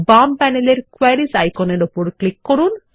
বাম প্যানেলের কোয়েরিস আইকনের উপর ক্লিক করুন